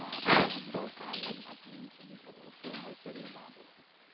rose oil அப்டின்னு சொல்லி போட்ருக்கு உங்களுக்கு தெரியுமா?